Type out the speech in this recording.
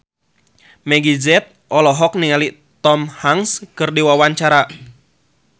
Meggie Z olohok ningali Tom Hanks keur diwawancara